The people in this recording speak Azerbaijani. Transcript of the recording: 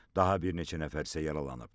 Daha bir neçə nəfər isə yaralanıb.